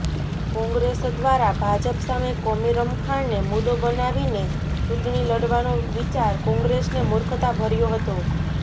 કોંગ્રેસ દ્વારા ભાજપ સામે કોમી રમખાણને મુદ્દો બનાવીને ચૂંટણી લડવાનો વિચાર કોંગ્રેસને મુર્ખતા ભર્યો હતો